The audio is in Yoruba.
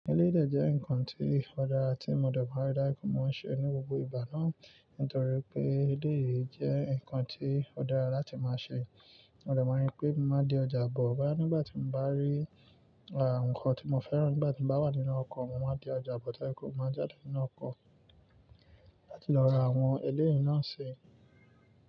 Elédè jẹ́ ǹkan tí ó dára tí mo dẹ̀ barí dá ikú máa ń ṣe ní gbogbo ìgbà náà nítorí pé eléyìí jẹ́ ǹkan tí ó dára láti máa ṣe. Mo dẹ̀ mọ̀ wípé má di ọjà bọ̀ bá nígbà tí mo bá rí àǹkóò tí mo fẹ́ràn nígbà tí mo bá wà nínú ọkọ̀, mo máa di ọjà bọ̀ dá ikú, mo máa jáde nínú ọkọ̀ láti lọ ra àwọn eléyìí náà ṣe.